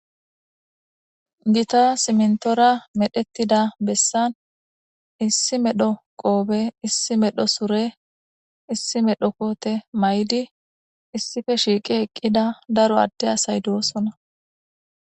Gita siminitora medhdhitida besanni issi medhdho qofe, issi medhdho sure ,issi medhdho kote mayidi issippe shiqqi eqida daro ade asayi dosona.